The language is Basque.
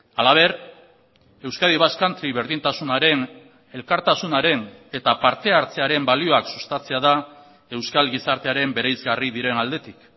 halaber euskadi basque country berdintasunaren elkartasunaren eta parte hartzearen balioak sustatzea da euskal gizartearen bereizgarri diren aldetik